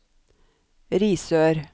Risør